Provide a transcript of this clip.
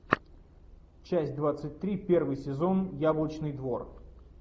часть двадцать три первый сезон яблочный двор